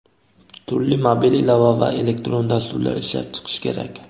turli mobil ilova va elektron dasturlar ishlab chiqish kerak.